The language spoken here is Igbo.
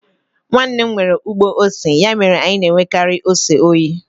Nwanne m nwere ugbo ose, ya mere anyi na-enwekari ose oyi.